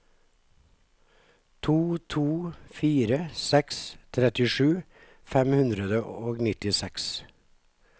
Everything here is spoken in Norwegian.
to to fire seks trettisju fem hundre og nittiseks